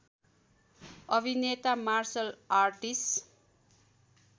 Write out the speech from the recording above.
अभिनेता martial artist